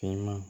Cɛman